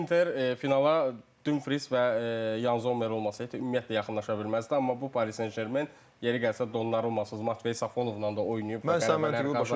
Yəni Inter finala Dumfries və Yan Zommer olmasaydı, ümumiyyətlə yaxınlaşa bilməzdi, amma bu Paris Saint-Germain yeri gəlsə, Donnarummasız Martveya Safonovla da oynayıb və qələbələr qazanıb.